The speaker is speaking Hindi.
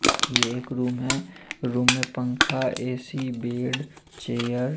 ये एक रूम है रूम में पंखा ऐ_सी बेड चेयर --